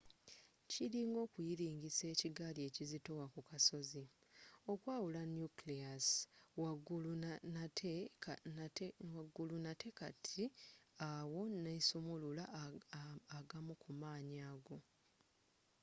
kiringa okuyiringisa ekigaali ekizitowa ku kasozi okwawula nucleus waggulu nate kati awo nesumulula agamu ku maanyi ago